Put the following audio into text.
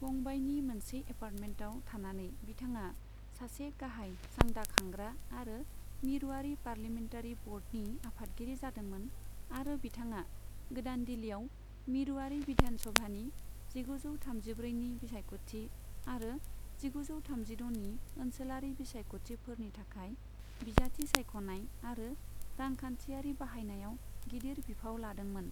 बंबायनि मोनसे एपार्टमेन्टआव थानानै बिथाङा सासे गाहाय चांदा खांग्रा आरो मिरुआरि पार्लियमेन्टारि बर्डनि आफादगिरि जादोंमोन आरो बिथाङा गोदान दिल्लिआव मिरुआरि बिधान सभानि जिगुजौ थामजिब्रैनि बिसायखथि आरो जिगुजौ थामजिद'नि ओनसोलारि बिसायखथिफोरनि थाखाय बिजाथि सायख'नाय आरो रांखान्थिआरि बाहायनायाव गिदिर बिफाव लादोंमोन।